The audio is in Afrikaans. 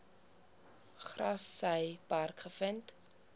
grassy park gevind